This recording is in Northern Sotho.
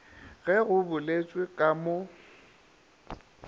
ge go boletšwe ka mo